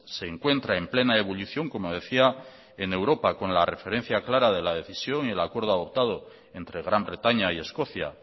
se encuentra en plena ebullición como decía en europa con la referencia clara de la decisión y el acuerdo adoptado entre gran bretaña y escocia